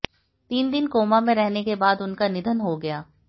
तीन दिन कोमा में रहने के बाद उनका निधन हो गया